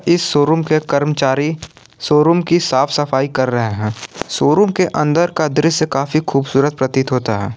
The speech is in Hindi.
इस शोरूम के कर्मचारी शोरूम की साफ सफाई कर रहे है शोरूम के अंदर का दृश्य काफी खूबसूरत प्रतीत होता है।